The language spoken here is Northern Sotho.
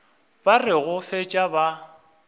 ba re go fetša ba